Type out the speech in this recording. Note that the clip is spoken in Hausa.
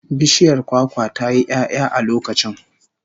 Bishiyar kwakwa ta yi 'ya'ya a lokacin